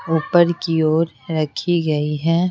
ऊपर की ओर रखी गई है।